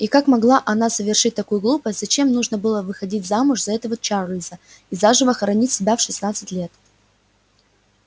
и как могла она совершить такую глупость зачем нужно было выходить замуж за этого чарлза и заживо хоронить себя в шестнадцать лет